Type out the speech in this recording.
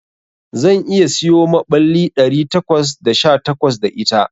Zan iya siyo maɓallai ɗari takwas da sha takwas da ita.